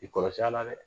I kɔrɔsi a la dɛ